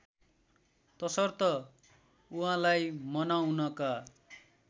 तसर्थ उहाँलाई मनाउनका